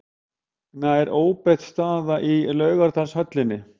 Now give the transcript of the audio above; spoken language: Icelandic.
Nær óbreytt staða í Laugardalshöllinni